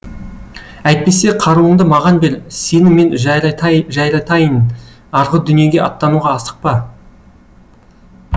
әйтпесе қаруыңды маған бер сені мен жайратайын арғы дүниеге аттануға асықпа